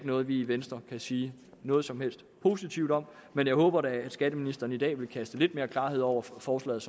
noget vi i venstre kan sige noget som helst positivt om men jeg håber da at skatteministeren i dag vil kaste lidt mere klarhed over forslaget